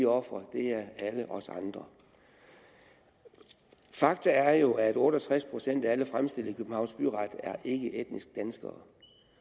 ofre er alle os andre faktum er jo at otte og tres procent af alle fremstillet i københavns byret er ikkeetniske danskere